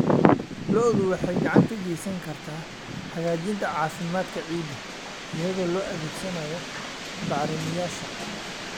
Lo'du waxay gacan ka geysan kartaa hagaajinta caafimaadka ciidda iyadoo la adeegsanayo bacrimiyeyaasha.